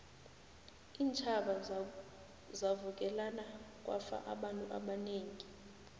iintjhaba zavukelana kwafa abantu abanengi